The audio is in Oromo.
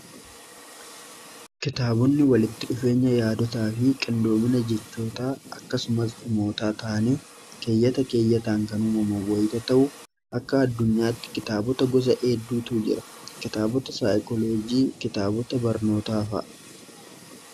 Kitaabonni walitti dhufeenya yaadotaa fi qindoomina jechootaa akkasumas imootaa taanii keeyyata keeyyataan kan uumamo wayita ta'u akka addunyaatti kitaabota gosa eedduutu jira kitaabota saayikolojii kitaabota barnootaafa